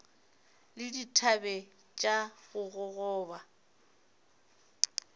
le dithabe tša go gogoba